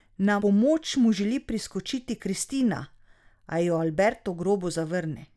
Na pomoč mu želi priskočiti Cristina, a jo Alberto grobo zavrne.